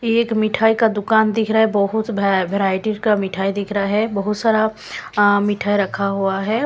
एक मिठाई का दुकान दिख रहा है बहुत वैरायटी का मिठाई दिख रहा है बहुत सारा अ मिठाई रखा हुआ है।